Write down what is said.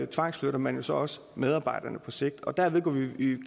tvangsflytter man så også medarbejderne på sigt derved går vi